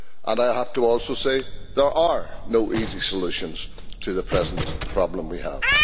I also have to say that there are no easy solutions to the present problem we have.